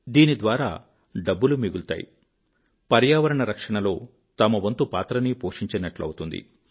దీని ద్వారా డబ్బులూ మిగులుతాయి పర్యావరణ రక్షణ లో తన వంతు పాత్రనీ పోషించినట్లవుతుంది